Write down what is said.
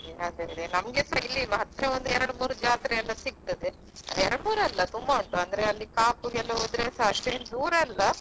ಹೌದಾ ಹಾ ಹಾ ಅಲ್ವಾ ಹಾಗೆ ಹಾಗೆ ನಮ್ಗೆಸ ಇಲ್ಲಿ ಹತ್ರ ಎರಡು ಮೂರು ಜಾತ್ರೆ ಎಲ್ಲ ಸಿಗ್ತದೆ ಎರಡು ಮೂರು ಅಲ್ಲ ತುಂಬಾ ಉಂಟು ಅಂದ್ರೆ ಅಲ್ಲಿ Kaup ಗೆಲ್ಲ ಹೋದ್ರೆ ಅಷ್ಟೆನ್ ದೂರ ಅಲ್ಲ.